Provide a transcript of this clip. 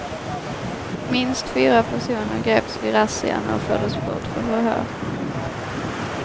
Minst fyra personer greps vid razzian och fördes bort för förhör.